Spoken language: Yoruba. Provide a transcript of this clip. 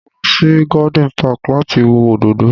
Mo lọ sí garden park láti wo òdòdó